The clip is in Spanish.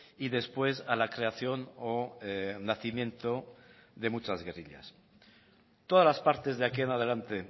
y después a la creación o nacimiento de muchas guerrillas todas las partes de aquí en adelante